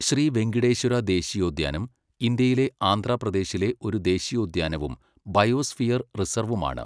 ശ്രീ വെങ്കിടേശ്വര ദേശീയോദ്യാനം, ഇന്ത്യയിലെ ആന്ധ്രാപ്രദേശിലെ ഒരു ദേശീയോദ്യാനവും, ബയോസ്ഫിയർ റിസർവുമാണ്.